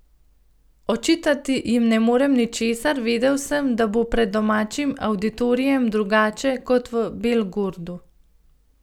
Očitati jim ne morem ničesar, vedel sem, da bo pred domačim avditorijem drugače kot v Belgorodu.